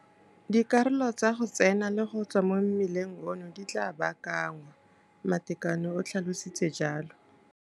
Dikarolo tsa go tsena le go tswa mo mmileng ono di tla baakanngwa, Matekane o tlhalositse jalo.